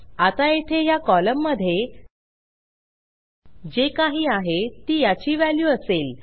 आता येथे ह्या कॉलममधे जे काही आहे ती याची व्हॅल्यू असेल